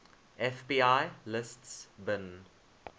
fbi lists bin